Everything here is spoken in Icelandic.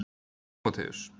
Tímóteus